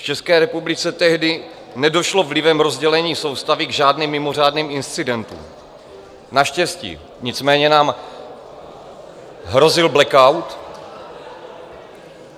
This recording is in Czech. V České republice tehdy nedošlo vlivem rozdělení soustavy k žádným mimořádným incidentům, naštěstí, nicméně nám hrozil blackout.